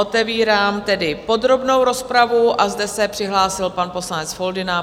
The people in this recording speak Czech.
Otevírám tedy podrobnou rozpravu a zde se přihlásil pan poslanec Foldyna.